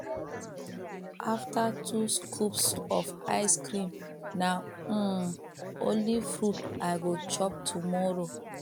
after two scoops of ice cream na um only fruit i go chop tomorrow